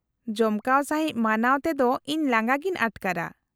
-ᱡᱚᱢᱠᱟᱣ ᱥᱟᱺᱦᱤᱡ ᱢᱟᱱᱟᱣ ᱛᱮᱫᱚ ᱤᱧ ᱞᱟᱸᱜᱟ ᱜᱤᱧ ᱟᱴᱠᱟᱨᱟ ᱾